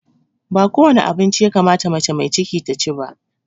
Ba kowane abinci ya kamata mace mai ciki ta ci ba